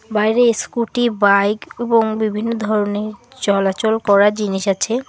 বাইরে scooty bike এবং বিভিন্ন ধরনের চলাচল করার জিনিস আছে